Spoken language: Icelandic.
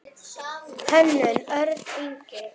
Hönnun: Örn Ingi.